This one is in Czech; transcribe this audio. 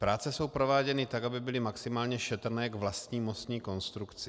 Práce jsou prováděny tak, aby byly maximálně šetrné k vlastní mostní konstrukci.